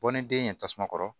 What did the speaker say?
Bɔ ni den ye tasuma kɔrɔ